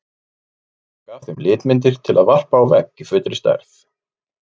Lætur taka af þeim litmyndir til að varpa á vegg í fullri stærð.